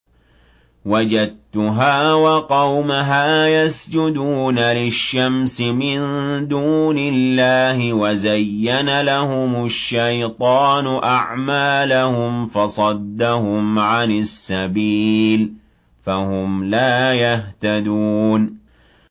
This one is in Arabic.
وَجَدتُّهَا وَقَوْمَهَا يَسْجُدُونَ لِلشَّمْسِ مِن دُونِ اللَّهِ وَزَيَّنَ لَهُمُ الشَّيْطَانُ أَعْمَالَهُمْ فَصَدَّهُمْ عَنِ السَّبِيلِ فَهُمْ لَا يَهْتَدُونَ